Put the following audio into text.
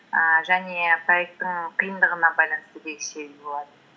ііі және проекттің қиындығына байланысты десе де болады